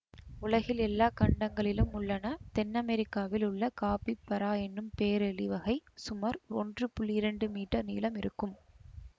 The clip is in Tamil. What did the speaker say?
உலகில் எல்லா கண்டங்களிலும் உள்ளன தென் அமெரிக்காவில் உள்ள காப்பிபரா என்னும் பேரெலி வகை சுமார் ஒன்று புள்ளி இரண்டு மீட்டர் நீளம் இருக்கும்